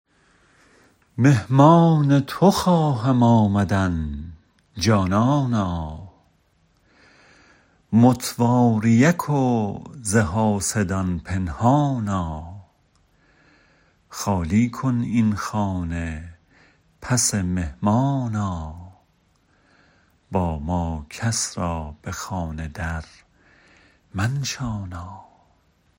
مهمان تو خواهم آمدن جانانا متواریک و ز حاسدان پنهانا خالی کن این خانه پس مهمان آ با ما کس را به خانه درمنشانا